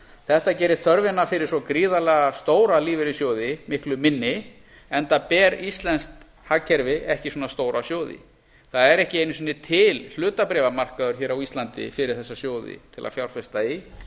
þetta gerir þörfina fyrir svo gríðarlega stóra lífeyrissjóði miklu minni enda ber íslenskt hagkerfi ekki svona stóra sjóði það er ekki einu sinni til hlutabréfamarkaður hér á íslandi fyrir þessa sjóði til að fjárfesta í